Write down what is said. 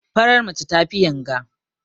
Farar mace tafi yanga.